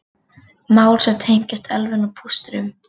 Mál sem tengjast ölvun og pústrum